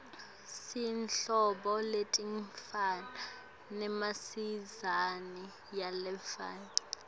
sinetinhlobo letingafani nemasayizi langafani